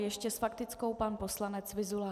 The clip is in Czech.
Ještě s faktickou pan poslanec Vyzula.